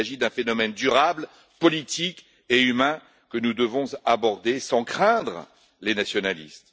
il s'agit d'un phénomène durable, politique et humain que nous devons aborder sans craindre les nationalistes.